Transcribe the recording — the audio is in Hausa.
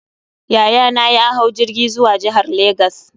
Yayana ya hau jirgi zuwa jihar Legas.